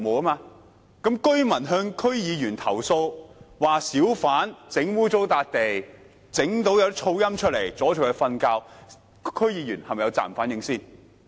若居民向區議員投訴，指小販把地方弄髒，並造成嘈音，擾人清夢，這樣區議員是否有責任反映？